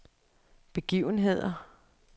begivenheder